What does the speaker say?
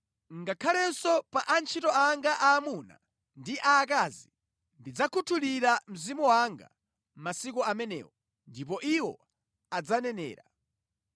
Ngakhalenso pa antchito anga aamuna ndi aakazi, ndidzakhuthulira Mzimu wanga masiku amenewo, ndipo iwo adzanenera.